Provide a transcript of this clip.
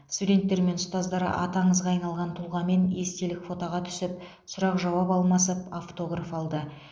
студенттер мен ұстаздар аты аңызға айналған тұлғамен естелік фотоға түсіп сұрақ жауап алмасып автограф алды